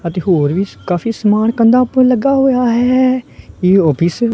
ਅਤੇ ਹੋਰ ਵੀ ਕਾਫੀ ਸਮਾਨ ਕੰਧਾ ਪਰ ਲੱਗਾ ਹੋਇਆ ਹੈ ਇਹ ਆਫ਼ਿਸ ।